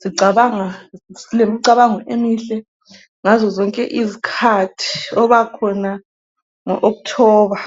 zicabanga lemicabango emihle ngazo zonke izikhathi ubakhona ngo October.